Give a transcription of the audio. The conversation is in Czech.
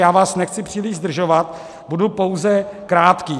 Já vás nechci příliš zdržovat, budu pouze krátký.